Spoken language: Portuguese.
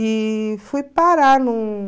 E fui parar num...